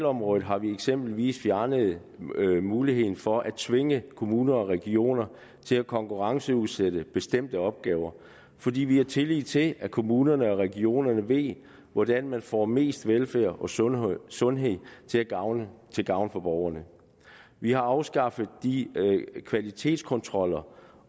område har vi eksempelvis fjernet muligheden for at tvinge kommuner og regioner til at konkurrenceudsætte bestemte opgaver fordi vi har tillid til at kommunerne og regionerne ved hvordan man får mest velfærd og sundhed sundhed til gavn til gavn for borgerne vi har afskaffet de kvalitetskontroller